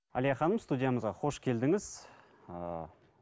әлия ханым студиямызға қош келдіңіз ыыы